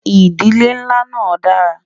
ìdílé nlá nà dára